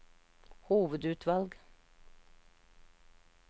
hovedutvalg